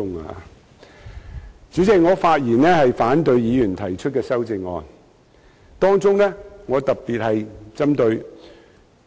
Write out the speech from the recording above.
代理主席，我發言反對議員提出的修正案，當中我特別針對